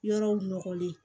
Yɔrɔw nɔgɔlen